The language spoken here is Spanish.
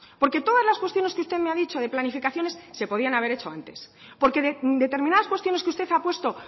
porque todas las cuestiones que usted me ha dicho de planificaciones se podrían haber hecho antes porque determinadas cuestiones que usted ha puesto